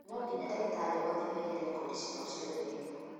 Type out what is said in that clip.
No nginya dagĩtarĩ othe maige rekodi ciao ciothe wega